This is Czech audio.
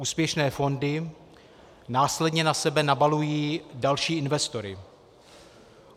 Úspěšné fondy následně na sebe nabalují další investory.